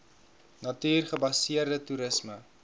natuur gebaseerde toerisme